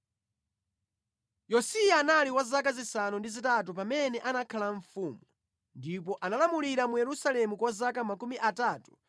Yosiya anali wa zaka zisanu ndi zitatu pamene anakhala mfumu, ndipo analamulira mu Yerusalemu kwa zaka 31.